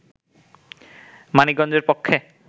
মানিক গঞ্জের পক্ষে